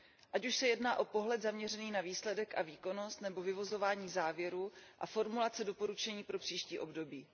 Ať už se jedná o pohled zaměřený na výsledek a výkonnost nebo vyvozování závěrů a formulace doporučení pro příští období.